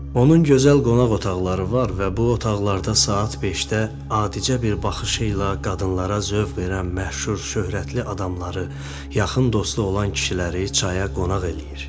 Onun gözəl qonaq otaqları var və bu otaqlarda saat 5-də adicə bir baxış ilə qadınlara zövq verən məşhur şöhrətli adamları, yaxın dostu olan kişiləri çaya qonaq eləyir.